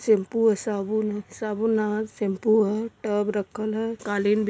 Shampoo ह साबुन ह साबुन ना ह। शैंपू ह टब रखल ह कालीन बि --